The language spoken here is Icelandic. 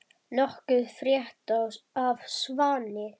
Nokkuð frétt af Svani?